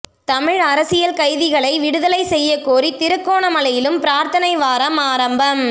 தமிழ் அரசியல் கைதிகளை விடுதலை செய்யக்கோரி திருகோணமலையிலும் பிரார்த்தனை வாரம் ஆரம்பம்